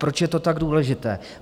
Proč je to tak důležité?